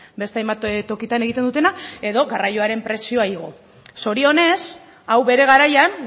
beste hainbat tokitan egiten dutena edo garraioaren prezioa igo zorionez hau bere garaian